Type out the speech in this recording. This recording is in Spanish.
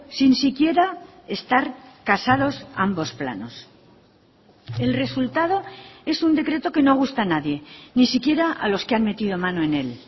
sin siquiera estar casados ambos planos el resultado es un decreto que no gusta a nadie ni siquiera a los que han metido mano en él